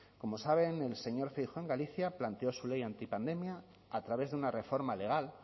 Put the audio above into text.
como saben el señor feijóo en galicia planteó su ley antipandemia a través de una reforma legal